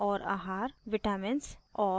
vitamins और